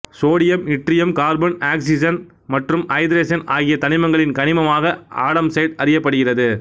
sodium yttrium carbon oxygen மற்றும் ஐதரசன் ஆகிய தனிமங்களின் கனிமமாக ஆடம்சைட்டு அறியப்படுகிறது